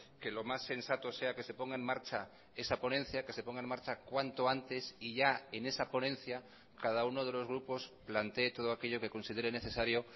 que lo más sensato sea que se ponga en marcha esa ponencia que se ponga en marcha cuanto antes y ya en esa ponencia cada uno de los grupos plantee todo aquello que considere necesario